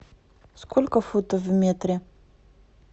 сколько футов в метре